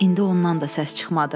İndi ondan da səs çıxmadı.